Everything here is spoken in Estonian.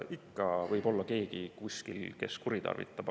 Ikka võib olla keegi kuskil, kes kuritarvitab.